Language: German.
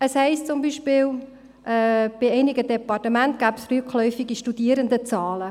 Es heisst beispielsweise, bei einigen Departementen gebe es rückläufige Studierendenzahlen.